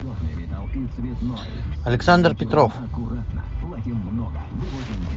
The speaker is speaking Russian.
александр петров